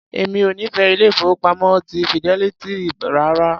Èmi ò nífẹ̀ẹ́ ilé-ìfowópamọ́ ti Fidelity rárá.